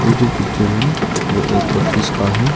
ये जो पिक्चर है वो एक ऑफिस का है।